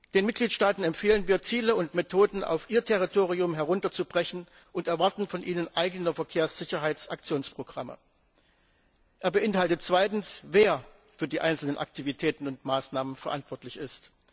Den Mitgliedstaaten empfehlen wir, Ziele und Methoden auf ihr Territorium herunterzubrechen und erwarten von ihnen eigene Verkehrssicherheitsaktionsprogramme. Der Bericht beinhaltet zweitens, wer für die einzelnen Aktivitäten und Maßnahmen verantwortlich ist.